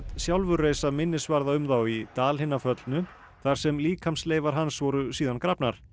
sjálfur reisa minnisvarða um þá í Dal hinna föllnu þar sem líkamsleifar hans voru síðan grafnar